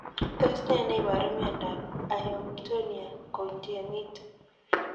Tos ne neiparu mindop Amyotonia congenita?